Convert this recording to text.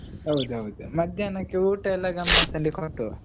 ಹೌದೌದು, ಮಧ್ಯಾಹ್ನಕ್ಕೆ ಊಟ ಎಲ್ಲೆ ಗಮ್ಮತ್ತಲ್ಲಿ ಕೊಡುವ.